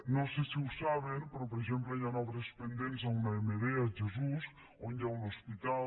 no sé si ho saben però per exemple hi han obres pendents a una emd a jesús on hi ha un hospital